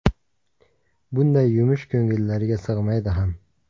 Bunday yumush ko‘ngillariga sig‘maydi ham.